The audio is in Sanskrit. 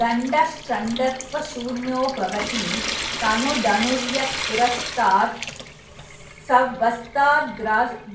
दण्डश्चण्डत्वशून्यो भवति तनुधनुर्यत्पुरस्तात्स वः स्ताद्